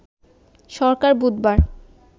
সরকার বুধবার